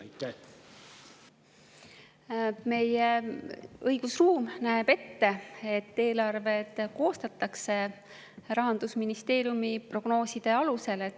Meie õigusruum näeb ette, et eelarve koostatakse Rahandusministeeriumi prognooside alusel.